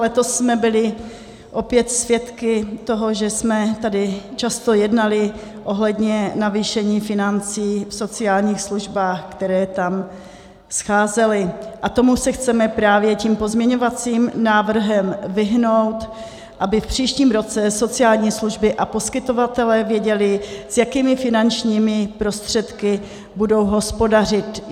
Letos jsme byli opět svědky toho, že jsme tady často jednali ohledně navýšení financí v sociálních službách, které tam scházely, a tomu se chceme právě tím pozměňovacím návrhem vyhnout, aby v příštím roce sociální služby a poskytovatelé věděli, s jakými finančními prostředky budou hospodařit.